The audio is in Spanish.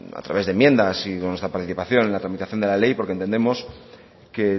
a través de enmiendas y con nuestra participación en la tramitación de la ley porque entendemos que